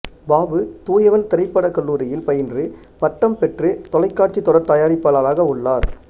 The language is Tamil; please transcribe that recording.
பாபு தூயவன் திரைப்படக் கல்லூரியில் பயின்று பட்டம் பெற்று தொலைக்காட்சித் தொடர் தயாரிப்பாளராக உள்ளார்